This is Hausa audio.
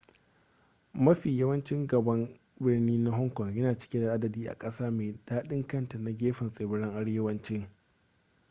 mafi yawan ci gaban birni na hong kong yana cike da adadi a ƙasa mai daɗin kanta ta gefen tsibirin arewacin